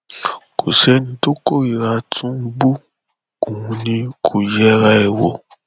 kò sẹni tó kórìíra tìǹbù òun ni kò yẹra ẹ wò